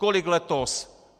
Kolik letos?